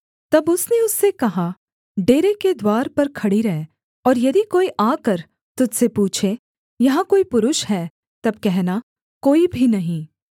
तब उसने उससे कहा डेरे के द्वार पर खड़ी रह और यदि कोई आकर तुझ से पूछे यहाँ कोई पुरुष है तब कहना कोई भी नहीं